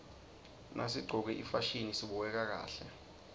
nasiqcoke ifasihni sibukeka kahle